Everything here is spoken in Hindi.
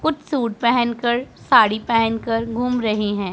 कुछ सूट पहन कर साड़ी पहन कर घूम रही हैं।